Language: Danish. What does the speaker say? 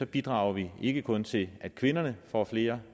bidrager vi ikke kun til at kvinderne får flere